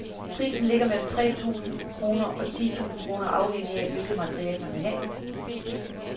Prisen ligger mellem tre tusind kroner og ti tusind kroner afhængigt af, hvilket materiale man vil have.